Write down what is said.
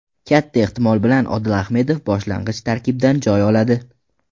Katta ehtimol bilan Odil Ahmedov boshlang‘ich tarkibdan joy oladi.